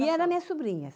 ia era minhas sobrinhas.